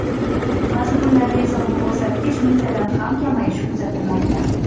Ba’zi kunlarda esa bu ko‘rsatkich mingtadan ham kamayishi kuzatilmoqda.